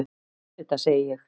Auðvitað, segi ég.